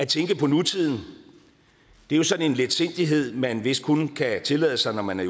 tænke på nutiden er jo sådan en letsindighed man vist kun kan tillade sig når man er